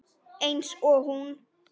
Eins og hún.